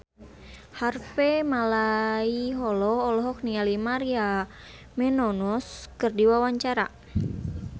Harvey Malaiholo olohok ningali Maria Menounos keur diwawancara